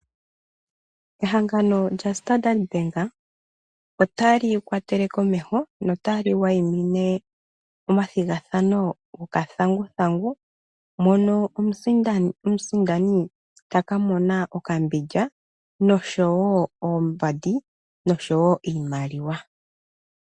Ehangano lyaStandard bank ota li kwatele komeho nota li wayimine omathigathano gokathanguthangu, mono omusindani taka mona okambindja, noshowo oombandi, noshowo iimaliwa.